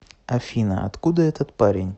афина откуда этот парень